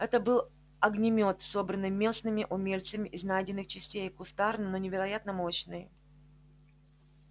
это был огнемёт собранный местными умельцами из найденных частей кустарный но невероятно мощный